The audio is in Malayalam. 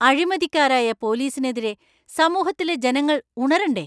അഴിമതിക്കാരായ പോലീസിനെതിരെ സമൂഹത്തിലെ ജനങ്ങൾ ഉണരണ്ടേ?